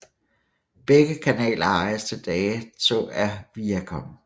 Begge kanaler ejes til dato af Viacom